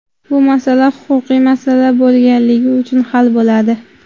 Bu masala huquqiy masala bo‘lganligi uchun hal bo‘ladi.